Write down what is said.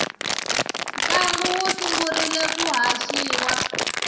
ntlangu wu sungurile ku haxiwa